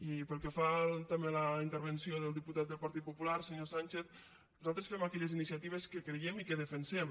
i pel que fa també a la intervenció del diputat del partit popular senyor sánchez nosaltres fem aquelles iniciatives que creiem i que defensem